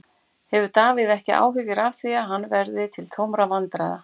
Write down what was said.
Hefur Davíð ekki áhyggjur af því að hann verði til tómra vandræða?